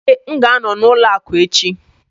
Ee, m ga-anọ n'ụlọ akụ echi